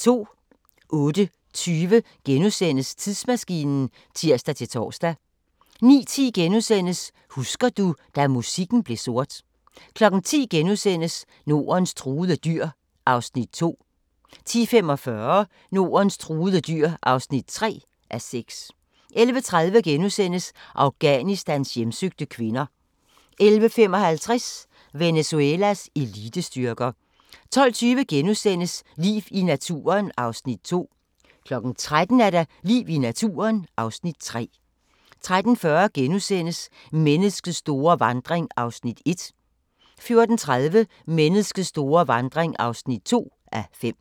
08:20: Tidsmaskinen *(tir-tor) 09:10: Husker du – da musikken blev sort * 10:00: Nordens truede dyr (2:6)* 10:45: Nordens truede dyr (3:6) 11:30: Afghanistans hjemsøgte kvinder * 11:55: Venezuelas elitestyrker 12:20: Liv i naturen (Afs. 2)* 13:00: Liv i naturen (Afs. 3) 13:40: Menneskets store vandring (1:5)* 14:30: Menneskets store vandring (2:5)